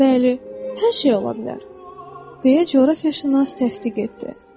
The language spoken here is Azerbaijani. Bəli, hər şey ola bilər, deyə coğrafiyaşünas təsdiq etdi.